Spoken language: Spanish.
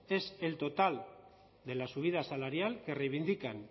es el total de la subida salarial que reivindican